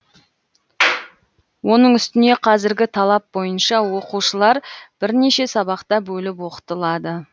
оның үстіне қазіргі талап бойынша оқушылар бірнеше сабақта бөліп оқытылады